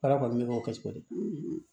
Baara kɔni bɛ k'o kɛ cogo di